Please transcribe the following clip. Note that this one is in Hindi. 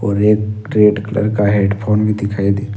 और एक रेड कलर का हेडफोन भी दिखाई दे--